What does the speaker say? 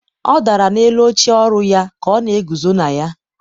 ọ dara n'elu oche ọrụ ya ka ọ na-eguzo na ya.